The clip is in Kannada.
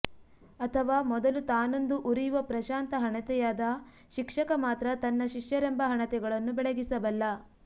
ಅಥವಾ ಮೊದಲು ತಾನೊಂದು ಉರಿಯುವ ಪ್ರಶಾಂತ ಹಣತೆಯಾದ ಶಿಕ್ಷಕ ಮಾತ್ರ ತನ್ನ ಶಿಷ್ಯರೆಂಬ ಹಣತೆಗಳನ್ನು ಬೆಳಗಿಸಬಲ್ಲ